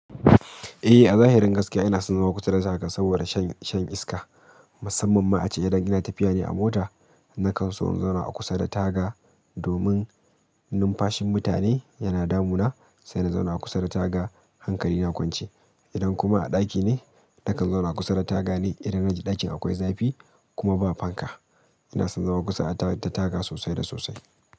Eh a zahirin gaskiya ina son zama kusa da taga saboda shan iska. Musamman ma ace idan ina tafiya ne a mota, nakan so in zauna a kusa da taga domin numfashin mutane yana damuna sai in zauna a kusa da taga hankali na kwance. Idan kuma a ɗaki ne, nakan zauna kusa da taga ne idan na ji ɗakin akwai zafi kuma ba fanka. Inason zama kusa a ta-- da taga sosai da sosai.